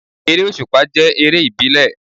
Eré òsùpá jẹ́ eré ìbílẹ̀